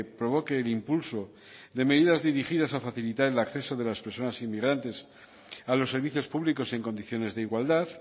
provoque el impulso de medidas dirigidas a facilitar el acceso de las personas inmigrantes a los servicios públicos en condiciones de igualdad